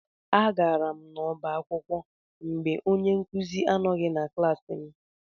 Agara m n'ọba akwụkwọ mgbe onye nkụzi anoghi na klaasị m.